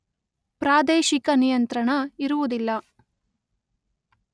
ಪ್ರಾದೇಶಿಕ ನಿಯಂತ್ರಣ ಇರುವುದಿಲ್ಲ.